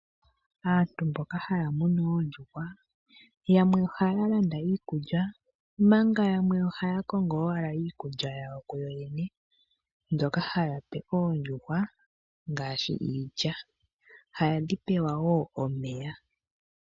Aantu mboka haya nunu oondjuhwa yamwe ohaya landa iikulya manga yamwe ohaya kongo owala iikulya yawo ku yoyene mbyoka haya pe oondjuhwa ngaashi iilya ihadhi pewa woo omeya.